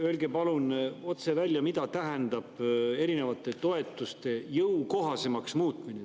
Öelge palun otse välja, mida tähendab erinevate toetuste jõukohasemaks muutmine.